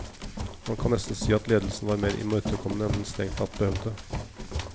Man kan nesten si at ledelsen var mer imøtekommende enn den strengt tatt behøvde.